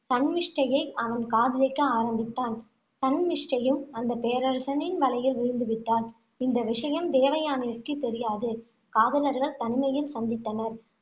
சன்மிஷ்டையை அவன் காதலிக்க ஆரம்பித்தான். சன்மிஷ்டையும், அந்த பேரரசனின் வலையில் விழுந்து விட்டாள். இந்த விஷயம் தேவயானைக்குத் தெரியாது. காதலர்கள் தனிமையில் சந்தித்தனர்